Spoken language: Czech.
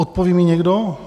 Odpoví mi někdo?